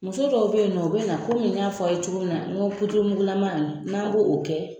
Muso dɔw be yen nɔ ,u be na n y'a fɔ anw ye cogo min na ,n go n'a b'o kɛ